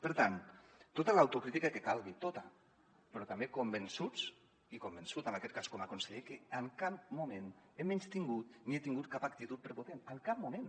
per tant tota l’autocrítica que calgui tota però també convençuts i convençut en aquest cas com a conseller que en cap moment he menystingut ni he tingut cap actitud prepotent en cap moment